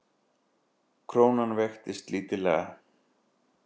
Krónan veiktist lítillega